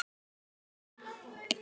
Fyrir skatt.